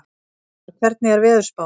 Ingmar, hvernig er veðurspáin?